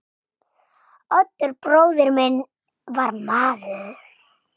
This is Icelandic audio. Oddur bróðir minn var maður.